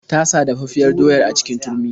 Ta sa dafaffiyar doyar a cikin turmi.